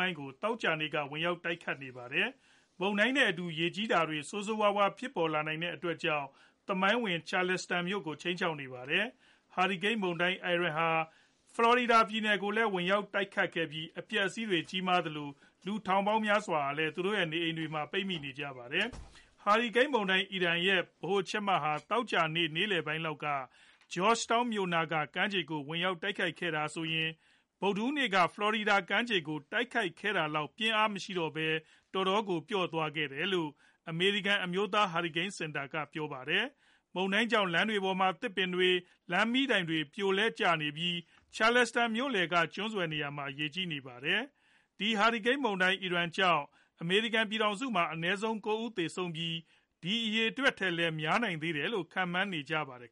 ိုင်းကို သောကြာနေ့က ဝင်ရောက် တိုက်ခတ်နေပါတယ်။ မုန်တိုင်းနဲ့အတူ ရေကြီးတာတွေ ဆိုးဆိုးဝါးဝါး ဖြစ်ပေါ်လာနိုင်တဲ့အတွက်ကြောင့် သမိုင်းဝင် Charleston မြို့ကိုလည်း ခြိမ်းခြောက်နေပါတယ်။ Hurricane မုန်တိုင်း Ian ဟာ ဖလော်ရီဒါပြည်နယ်ကိုလည်း ဝင်ရောက် တိုက်ခတ်ခဲ့ပြီး အပျက်အစီးတွေ ကြီးမားခဲ့သလို လူထောင်ပေါင်းများစွာဟာ သူတို့ရဲ့နေအိမ်တွေထဲမှာ ပိတ်မိနေကြပါတယ်။ ဟာရီကိန်းမုန်တိုင်း Ian ရဲ့ ဗဟိုချက်မ ဟာ သောကြာနေ့ နေ့လည်ပိုင်းလောက်မှာ Georgetown မြို့နားက ကမ်းခြေကို ဝင်ရောက်တိုက်ခတ်ခဲ့တာဟာဆိုရင် ဗုဒ်ဓဟူးနေ့က ဖလော်ရီဒါပြည်နယ် ကမ်းခြေကို တိုက်ခတ်ခဲ့တာလောက် ပြင်းအားမရှိတော့ပဲ တော်တော်ပျော့သွားခဲ့တယ်လို့ အမေရိကန် အမျိုးသား ဟာရီကိန်း စင်တာ က ပြောပါတယ်။ မုန်တိုင်းကြောင့် လမ်းတွေပေါ်မှာ သစ်ပင်တွေ၊ လမ်းမီးတိုင်တွေလဲကျနေပြီး Charleston မြို့လည်က ကျွန်းဆွယ်နေရာမှာ ရေကြီးနေပါတယ်။ ဒီ ဟာရီကိန်း မုန်တိုင်း Ian ကြောင့် အမေရိကန် ပြည်ထောင်စုမှာ အနည်းဆုံး ၉ ဦးသေဆုံးပြီး ဒီအရေအတွက်ထက်လည်း များနိုင်သေးတယ်လို့လည်း ခန့်မှန်းနေကြပါတယ်